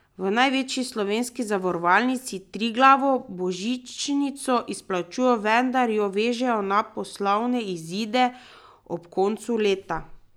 V največji slovenski zavarovalnici, Triglavu, božičnico izplačujejo, vendar jo vežejo na poslovne izide ob koncu leta.